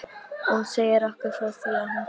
Hún segir okkur frá því þegar hún kemur.